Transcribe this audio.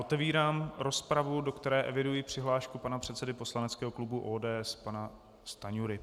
Otevírám rozpravu, do které eviduji přihlášku pana předsedy poslaneckého klubu ODS, pana Stanjury.